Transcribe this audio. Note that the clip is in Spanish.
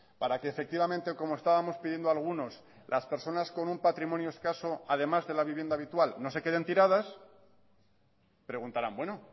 para que efectivamente como estábamos pidiendo algunos las personas con un patrimonio escaso además de la vivienda habitual no se queden tiradas preguntarán bueno